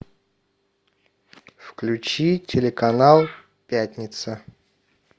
включи телеканал пятница